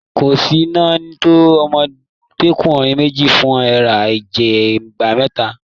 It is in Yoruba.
Koosi náà tọ ọmọdekunrin méjì fún eré ìje igba mítà.